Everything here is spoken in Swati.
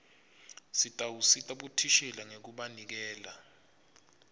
sitawusita bothishela ngekubanikela